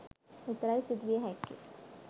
විතරයි සිදුවිය හැක්කේ.